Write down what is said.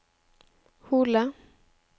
Hole